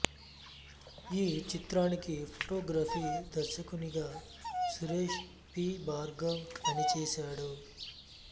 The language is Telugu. ఈ చిత్రానికి ఫోటోగ్రఫీ దర్శకునిగా సురేష్ పి భార్గవ్ పనిచేసాడు